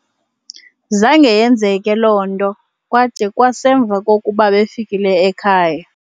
zange yenzeke loo nto kwada kwasemva kokuba befikile ekhaya